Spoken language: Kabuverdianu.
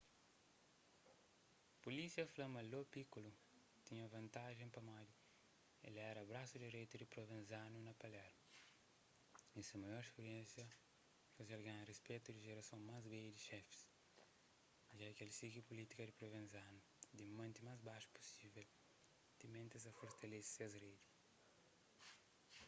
pulísia fla ma lo piccolo tinha vantajen pamodi el éra brasu direitu di provenzano na palermo y se maior spiriénsia faze-l ganha respetu di jerason más bedju di xefis ja ki es sigi pulítika di provenzano di mante más baxu pusível timenti es ta fortalese ses redi